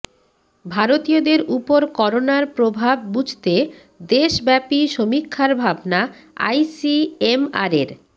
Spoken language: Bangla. ভারতীয়দের উপর করোনার প্রভাব বুঝতে দেশব্যাপী সমীক্ষার ভাবনা আইসিএমআরের